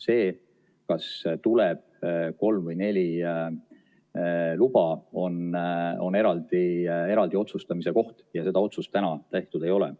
See, kas tuleb kolm või neli luba, on eraldi otsustamise koht ja seda otsust täna tehtud ei ole.